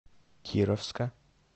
кировска